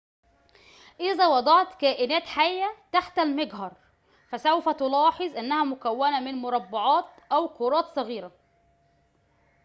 إذا وضعت كائنات حية تحت المجهر فسوف تلاحظ أنها مكوّنة من مربعات أو كرات صغيرة